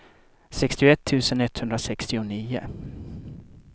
sextioett tusen etthundrasextionio